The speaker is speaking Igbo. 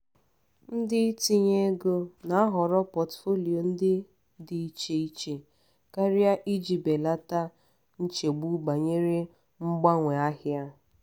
ndị itinye ego na-ahọrọ portfolio ndị dị iche iche karịa iji belata nchegbu banyere mgbanwe ahịa.